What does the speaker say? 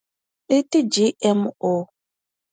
Iti G_M_O.